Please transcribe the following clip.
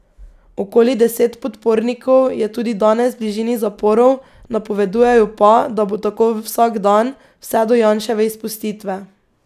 Okoli deset podpornikov je tudi danes v bližini zaporov, napovedujejo pa, da bo tako vsak dan, vse do Janševe izpustitve.